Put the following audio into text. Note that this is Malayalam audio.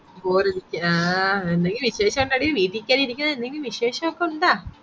bore അടിച്ചു ആഹ് എന്തെങ്കിലും വിശേഷം ഉണ്ടെടി വിട്ടികേറിഇരിക്കുന്നതിൽ എന്തെങ്കിലും വിശേഷോകെ ഉണ്ടാ